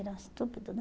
Era um estúpido, né?